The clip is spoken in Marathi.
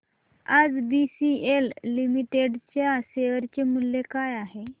आज बीसीएल लिमिटेड च्या शेअर चे मूल्य काय आहे